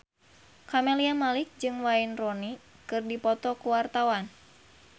Camelia Malik jeung Wayne Rooney keur dipoto ku wartawan